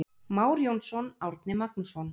Már Jónsson, Árni Magnússon.